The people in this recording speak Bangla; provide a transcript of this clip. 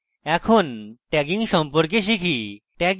এখন tagging সম্পর্কে শিখি